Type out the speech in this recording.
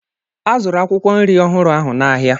A zụrụ akwụkwọ nri ọhụrụ ahụ n'ahịa